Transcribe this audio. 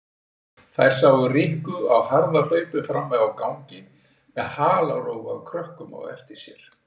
Þær sáu Rikku á harðahlaupum frammi á gangi með halarófu af krökkum á eftir sér.